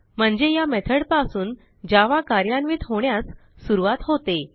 म्हणजे या मेथॉड पासून जावा कार्यान्वित होण्यास सुरूवात होते